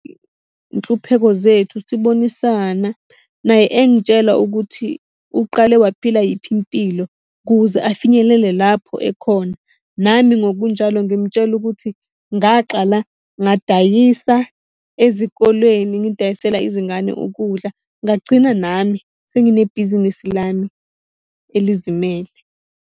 iy'nhlupheko zethu sibonisana, naye engitshela ukuthi uqale waphila yiphi impilo ukuze afinyelele lapho ekhona. Nami ngokunjalo ngimutshela ukuthi ngaqala ngadayisa ezikolweni ngidayisela izingane ukudla, ngagcina nami senginebhizinisi lami elizimele.